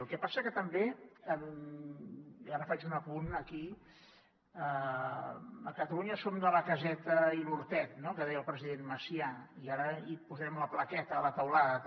el que passa que també ara faig un apunt aquí a catalunya som de la caseta i l’hortet no que deia el president macià i ara hi posem la plaqueta a la teulada també